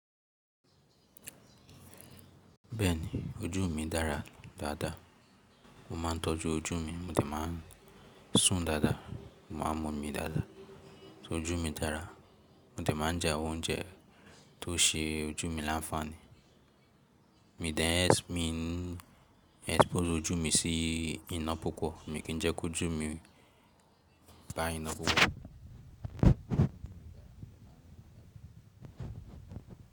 Bẹ́ẹ̀ni, ojú mi dára dáadáa. Mo maa n tọ́jú ojú mi, mo dè máa n sùn dáadáa, mo maa n mọ̀ mi dáadáa. Ṣé ojú mi dára? Mo dè máa n jẹ awon oúnjẹ tó ṣe ojú mi láńfààní. Mi n de ẹ́ mi n expose ojú mi sí iná púpọ̀, mi kì n jẹ́ kí ojú mi bá iná púpọ̀.